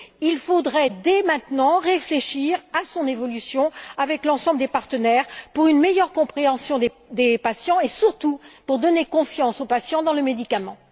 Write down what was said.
Il faudrait, dès maintenant, réfléchir à son évolution, avec l'ensemble des partenaires, pour une meilleure compréhension des patients et surtout pour donner confiance aux patients dans le médicament.